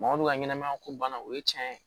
Mɔgɔ min ka ɲɛnamaya ko banna o ye tiɲɛ ye